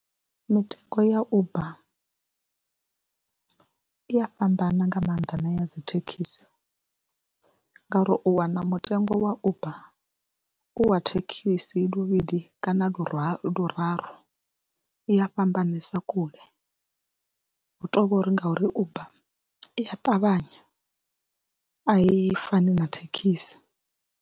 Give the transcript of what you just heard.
Mitengo ya Uber i ya fhambana nga maanḓa na ya dzi thekhisi ngauri u wana mutengo wa Uber u wa thekhisi lu luvhili kana luraru luraru i a fhambanesa kule, hu tou vho ri ngauri Uber i a ṱavhanya a i fani na thekhisi.